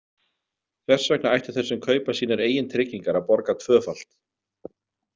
Hvers vegna ættu þeir sem kaupa sínar eigin tryggingar að borga tvöfalt?